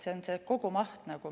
See on kogumaht.